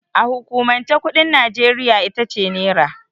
A hukumance kuɗin Nijeriya itace Nera.